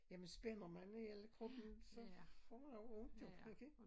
Jamen spænder man i hele kroppen så får jeg ondt jo man kan ikke